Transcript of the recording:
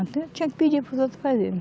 Até eu tinha que pedir para os outros fazerem.